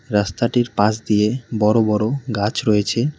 রাস্তাটির পাশ দিয়ে বড় বড় গাছ রয়েছে।